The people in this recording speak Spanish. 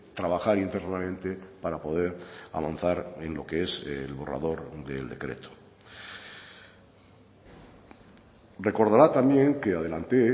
trabajar internamente para poder avanzar en lo que es el borrador del decreto recordará también que adelanté